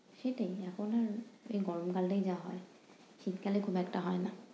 সেটাই এখন এই গরমকালেই যা হয়, শীতকালে খুব একটা হয় না।